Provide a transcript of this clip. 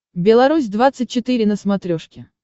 белорусь двадцать четыре на смотрешке